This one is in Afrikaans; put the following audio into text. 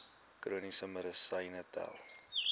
chroniese medisyne tel